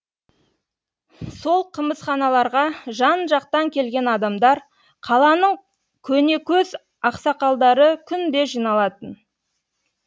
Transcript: сол қымызханаларға жан жақтан келген адамдар қаланың көнекөз ақсақалдары күнде жиналатын